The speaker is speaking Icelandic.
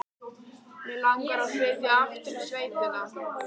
Mig langar að flytja aftur í sveitina.